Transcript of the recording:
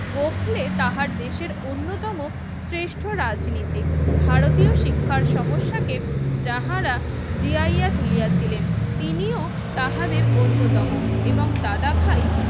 গোখলেপ তাহার দেশের অন্যতম শেষ্ট্র রাজনীতিক ভারতীয় শিক্ষার সমস্যাকে যাঁহারা জাগিয়া তুলেছিলেন তিনিও তাঁহাদের অন্যতম এবং দাদা ভাই